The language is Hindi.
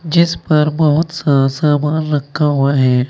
जिस पर बहुत सा सामान रखा हुआ है।